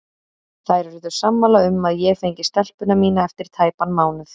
Þær urðu sammála um að ég fengi stelpuna mína eftir tæpan mánuð.